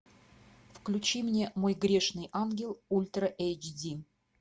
включи мне мой грешный ангел ультра эйч ди